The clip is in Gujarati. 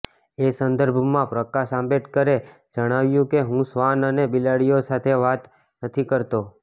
એ સંદર્ભમાં પ્રકાશ આંબેડકરે જણાવ્યું કે હું શ્વાન અને બિલાડીઓ સાથે વાત નથી કરતો